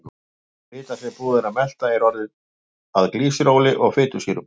Fita sem búið er að melta er orðin að glýseróli og fitusýrum.